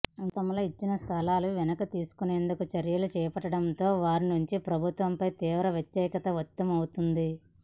గతంలో ఇచ్చిన స్థలాలను వెనక్కి తీసుకునేందుకు చర్యలు చేపట్టడంతో వారి నుంచి ప్రభుత్వంపై తీవ్ర వ్యతిరేకత వ్యక్తం అవుతుంది